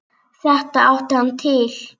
Þetta átti hann til.